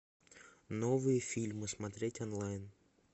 новые фильмы смотреть онлайн